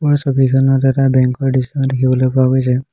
ওপৰৰ ছবিখনত এটা বেঙ্ক ৰ দৃশ্য দেখিবলৈ পোৱা গৈছে।